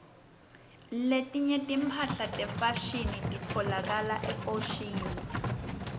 letinye timphahla tefashini titfolakala efoshini